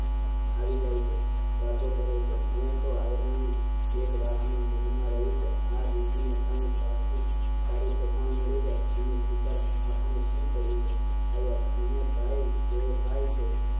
આવી જાય છે વાતો કરે છે મેં તો આયરાણી એક વાતમાં મનમાં રહી કે આ રૂપને કાંઈ સાસુ સારું ઠેકાણું મળી જાય દિનેશ આપણે શી પડી છે એને ભાઈ જેવો ભાઈ છે